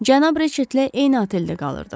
Cənab Reçetlə eyni oteldə qalırdıq.